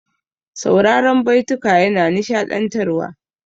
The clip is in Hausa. Sauraran baituka yana nishaɗantarwa.